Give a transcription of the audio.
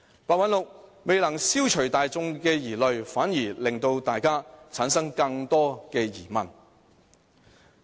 白韞六未能消除大眾疑慮，反而令大家產生更多疑問。